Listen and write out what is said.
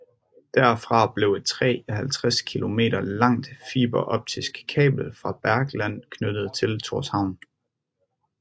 Derfra blev et 53 km langt fiberoptisk kabel fra Bergland knyttet til Tórshavn